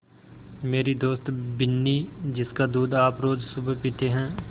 मेरी दोस्त बिन्नी जिसका दूध आप रोज़ सुबह पीते हैं